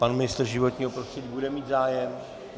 Pan ministr životního prostředí bude mít zájem?